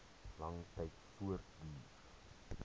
lang tyd voortduur